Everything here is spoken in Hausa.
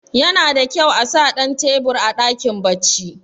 yana da kyau a sa Dan tebur a dakin bacci